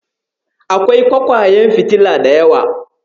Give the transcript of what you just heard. Akwai ƙwaiƙwayen fitila da yawa.